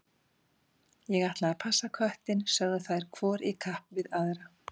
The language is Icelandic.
Ég ætla að passa köttinn, sögðu þær hvor í kapp við aðra.